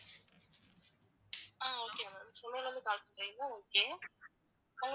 ஆஹ் okay ma'am சென்னைலருந்து call பண்றீங்களா okay